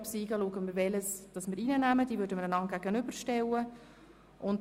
Ist dies bei beiden der Fall, schauen wir durch Gegenüberstellung, welche wir aufnehmen.